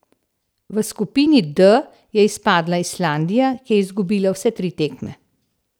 V skupini D je izpadla Islandija, ki je izgubila vse tri tekme.